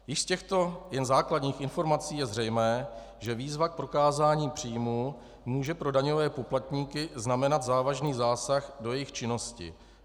Již z těchto jen základních informací je zřejmé, že výzva k prokázání příjmů může pro daňové poplatníky znamenat závažný zásah do jejich činnosti.